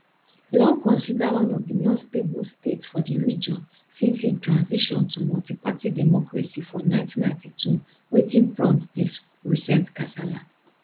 long considered one of di more stable states for di region since im transition to multiparty democracy for 1992 wetin prompt dis recent kasala